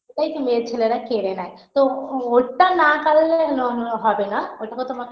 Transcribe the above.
এটাই তো main ছেলেরা কেড়ে নেয় তো ওটা না কাড়লে ন হবে না ওটা তো তোমাকে